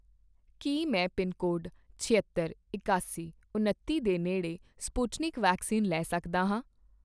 ਕੀ ਮੈਂ ਪਿਨਕੋਡ ਛਿਅੱਤਰ, ਇਕਾਸੀ, ਉਣੱਤੀ ਦੇ ਨੇੜੇ ਸਪੁਟਨਿਕ ਵੈਕਸੀਨ ਲੈ ਸਕਦਾ ਹਾਂ?